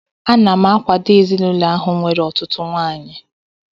Ana m akwado ezinaụlọ ahụ nwere ọtụtụ nwaanyị